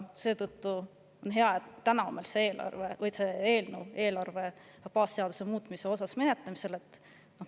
Seetõttu on hea, et täna on meil see eelarve baasseaduse muutmise eelnõu menetlemisel.